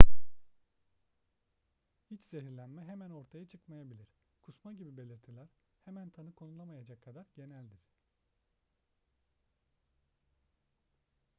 i̇ç zehirlenme hemen ortaya çıkmayabilir. kusma gibi belirtiler hemen tanı konulamayacak kadar geneldir